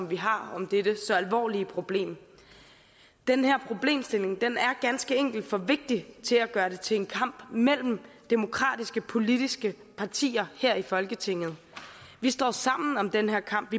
vi har om dette så alvorlige problem den her problemstilling er ganske enkelt for vigtig til at gøre det til en kamp mellem demokratiske politiske partier her i folketinget vi står sammen om den her kamp